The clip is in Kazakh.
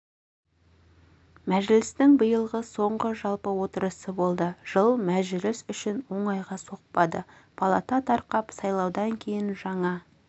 мәжілістің биылғы соңғы жалпы отырысы болды жыл мәжіліс үшін оңайға соқпады палата тарқап сайлаудан кейін жаңа